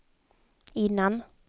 innan